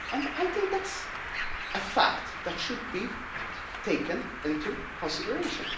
I think that is a fact that should be taken into consideration.